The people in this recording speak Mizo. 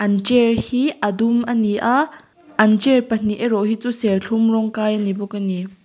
an chair hi a dum a ni a an chair pahnih erawh hi chu serthlum rawng kai a ni bawk a ni.